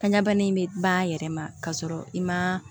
Kan ɲɛbana in bɛ ban a yɛrɛ ma k'a sɔrɔ i ma